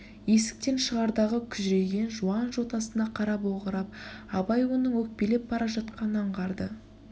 есіктен шығардағы күжірейген жуан жотасына қарап огырып абай оның өкпелеп бара жатқанын аңғарды